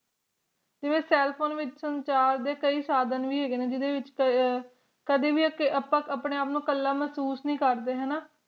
ਤੇ cell phone ਵਿਚ ਸੰਚਾਰ ਡੇ ਕੀ ਸਾਡੀਆਂ ਵੇ ਹੱਗਾਈ ਹਾਯ ਨਾ ਜੇਡੇ ਵਿਚ ਆਪਾਂ ਕਦੇ ਆਪਂਡੇ ਆਪ ਨੋ ਕੱਦ ਵੇ ਕੁਲ ਮੁਹਸੂਸ ਨੇ ਕਰਦੇ ਹੈ ਨਾ